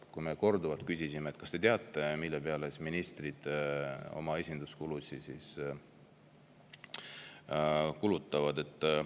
Me küsisime korduvalt, kas te teate, mille peale ministrid oma esinduskuludeks kulutavad.